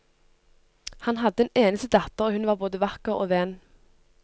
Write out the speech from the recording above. Han hadde en eneste datter, og hun var både vakker og ven.